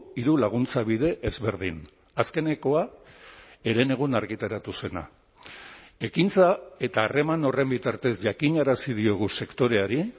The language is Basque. hiru laguntza bide ezberdin azkenekoa herenegun argitaratu zena ekintza eta harreman horren bitartez jakinarazi diogu sektoreari